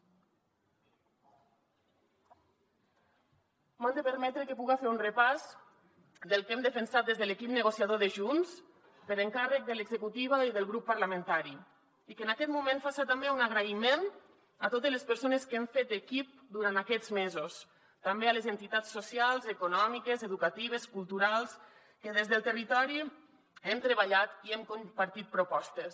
m’han de permetre que puga fer un repàs del que hem defensat des de l’equip negociador de junts per encàrrec de l’executiva i del grup parlamentari i que en aquest moment faça també un agraïment a totes les persones que han fet equip durant aquests mesos també a les entitats socials econòmiques educatives culturals que des del territori hem treballat i hem compartit propostes